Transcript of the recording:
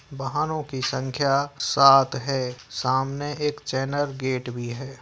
वाहनों की संख्या सात है सामने एक चैनल गेट भी है।